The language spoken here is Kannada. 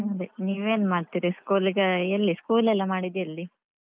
ಹ್ಮ್ ಅದೇ ನೀವ್ ಏನ್ ಮಾಡ್ತೀರಿ? school ಈಗ school ಎಲ್ಲ ಮಾಡಿದ್ದೆಲ್ಲಿ.